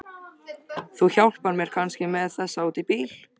Þú hjálpar mér kannski með þessa út í bíl?